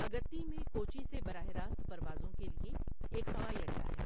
اگتّی میں کوچی سے براہ راست پروازوں کے لئے ایک ہوائی اڈہ ہے۔